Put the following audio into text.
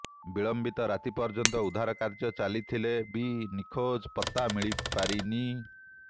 ବିଳମ୍ବିତ ରାତି ପର୍ଯ୍ୟନ୍ତ ଉଦ୍ଧାର କାର୍ଯ୍ୟ ଚାଲିଥିଲେ ବି ନିଖୋଜଙ୍କ ପତ୍ତା ମିଳିପାରିନି